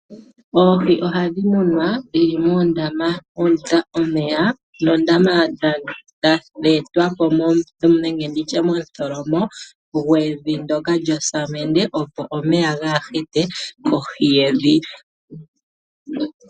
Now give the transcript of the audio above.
Oohi ohadhi munwa dhi li moondama mwa tulwa omeya noondama dhe etwa po momutholomo gwevi lyosamende, opo omeya gaahite mohi yevi.